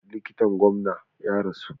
Likitan gwamna ya rasu.